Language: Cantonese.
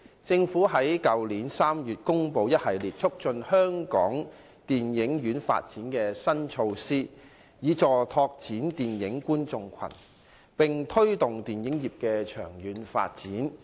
政府於去年3月公布一系列促進香港電影院發展的新措施，以助拓展電影觀眾群，並推動電影業的長遠發展。